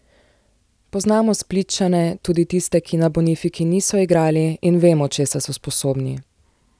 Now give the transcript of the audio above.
Poznamo Splitčane, tudi tiste, ki na Bonifiki niso igrali, in vemo česa so sposobni.